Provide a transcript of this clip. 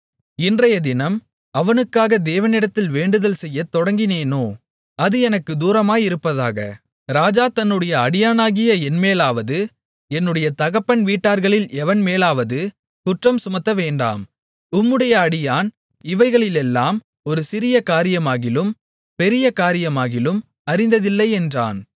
இன்றையதினம் அவனுக்காக தேவனிடத்தில் வேண்டுதல் செய்யத் தொடங்கினேனோ அது எனக்குத் தூரமாயிருப்பதாக ராஜா தம்முடைய அடியானாகிய என்மேலாவது என்னுடைய தகப்பன் வீட்டார்களில் எவன் மேலாவது குற்றம் சுமத்தவேண்டாம் உம்முடைய அடியான் இவைகளிலெல்லாம் ஒரு சிறிய காரியமாகிலும் பெரிய காரியமாகிலும் அறிந்ததில்லை என்றான்